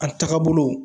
A tagabolo